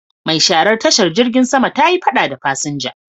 Mai sharar tashar jirgin sama ta yi fada da fasinja.